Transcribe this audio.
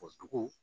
O dugu